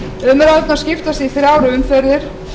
umræðurnar skiptast í þrjár umferðir